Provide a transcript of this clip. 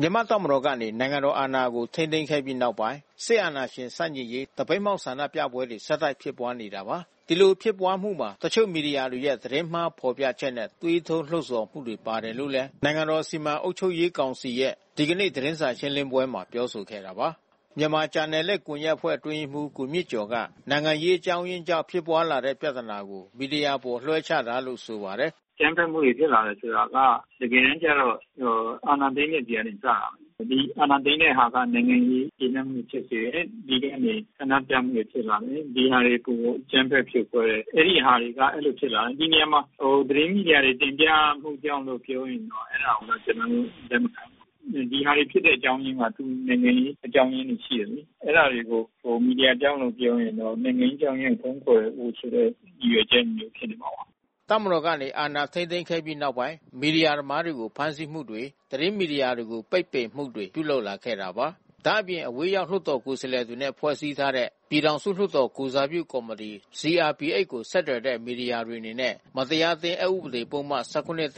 မြန်မာ့တပ်မတော်ကနေ နိုင်ငံတော်အာဏာကို ထိန်းသိမ်းခဲ့ပြီးနောက်ပိုင်း စစ်အာဏာရှင်ဆန့်ကျင်ရေး သပိတ်မှောက် ဆန္ဒပြပွဲတွေ ဆက်တိုက်ဖြစ်ပွါးနေတာပါ။ ဒီလိုဖြစ်ပွါးမှုမှာ တချို့မီဒီယာများရဲ့ သတင်းမှားဖော်ပြချက်နဲ့ သွေးထိုးလှုံဆော်မှုတွေ ပါတယ်လို့လည်း နိုင်ငံတော်စီမံအုပ်ချုပ်ရေးကောင်စီရဲ့ ဒီကနေ့ သတင်းစာရှင်းလင်းပွဲမှာပြောဆိုခဲ့တာပါ။ မြန်မာဂျာနယ်လစ်ကွန်ယက်အဖွဲ့အတွင်းရေးမှူး ကိုမြင့်ကျော်က နိုင်ငံရေးအကြောင်းအရင်းကြောင့် ဖြစ်ပွါးလာတဲ့ပြဿနာကို မီဒီယာအပေါ်လွှဲချတာလို့ ဆိုပါတယ်။ “အကြမ်းဖက်မှုတွေ ဖြစ်လာတယ်ဆိုတာက တကယ်တမ်းကျတော့ အာဏာသိမ်းတဲ့ဆီကစတယ်။ ဒီအာဏာသိမ်းတဲ့တဲ့ဟာက နိုင်ငံရေး မကျေနပ်မှုတွေဖြစ်စေတယ်။ တပြည်လုံးကနေ ဆန္ဒပြမှုတွေဖြစ်လာတယ်။ ဒီဟာတွေကို အကြမ်းဖက်ဖြိုခွဲတယ်။ အဲဒီဟာတွေကအဲဒီလိုဖြစ်လာတယ်။ ဒီနေရာမှာ သတင်းမီဒီယာတွေ တင်ပြမှုကြောင့်လို့ ပြောရင်တော့ အဲဒါတွေကို ကျနော်တို့ လက်မခံဘူး။ ဒီဟာတွေဖြစ်တဲ့အကြောင်းအရင်းက နိုင်ငံရေးအကြောင်းရင်းတွေ ရှိတယ်လေ။ အဲဒါတွေကို မီဒီယာကြောင့်လို့ ပြောရင်တော့ နိုင်ငံရေးအကြောင်းအရင်းကို ဖုံးကွယ်ဖို့ဆိုတဲ့ ရည်ရွယ်ချက်မျိုးဖြစ်နေမှာပါ။” တပ်မတော်ကနေ အာဏာထိန်းသိမ်းခဲ့ပြီးနောက်ပိုင်း မီဒီယာသမားတွေကို ဖမ်းဆီးမှုတွေ သတင်းမီဒီယာတွေကို ပိတ်ပင်မှုတွေပြုလုပ်လာခဲ့တာပါ။ ဒါ့အပြင် အဝေးရောက် လွှတ်တော်ကိုယ်စားလှယ်တွေနဲ့ ဖွဲ့စည်းထားတဲ့ ပြည်ထောင်စုလွှတ်တော်ကိုယ်စားပြုကော်မီတီ CRPH ကို ဆက်သွယ်တဲ့ မီဒီယာတွေအနေနဲ့ မတရားအသင်း အက်ဥပဒေ ၁၇ နဲ့